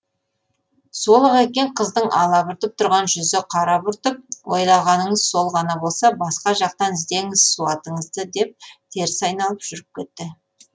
сол ақ екен қыздың алабұртып тұрған жүзі қарабұртып ойлағаныңыз сол ғана болса басқа жақтан іздеңіз суатыңызды деп теріс айналып жүріп кетті